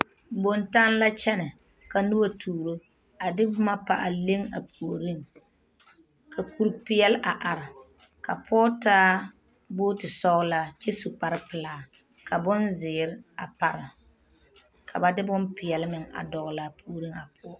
Bontanne la a kyɛnɛ ka noba tuuro a de boma a pa a leŋ a puoriŋ ka kuri peɛle a are ka pɔge taa bogti sɔglaa kyɛ su kparepelaa ka bonzeere a pare ka ba de bonpeɛle meŋa dɔgle laa puori na puori ŋa poɔ.